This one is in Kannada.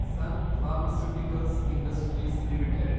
sun Pharmaceuticals Industries limited